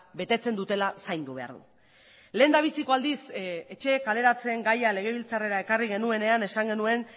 betetzen dutela zaindu behar du lehendabiziko aldiz etxe kaleratzeen gaia legebiltzarrera ekarri genuenean esan genuen